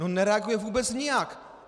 No nereaguje vůbec nijak.